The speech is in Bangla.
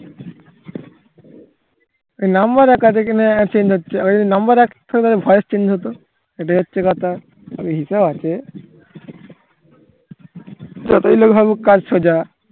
এই number এক আছে কিনা change হচ্ছে আবার number এক voice change হতো এটাই হচ্ছে কথা সবই হিসাব আছে যতই লোক ভাবুক কাজ সোজা